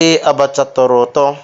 Ee, abacha tọrọ ụtọ.